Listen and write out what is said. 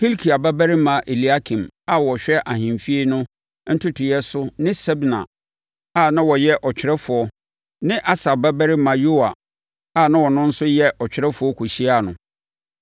Hilkia babarima Eliakim a na ɔhwɛ ahemfie no ntotoeɛ so ne Sebna a na ɔyɛ ɔtwerɛfoɔ ne Asaf babarima Yoa a na ɔno nso yɛ ɔtwerɛfoɔ kɔhyiaa no.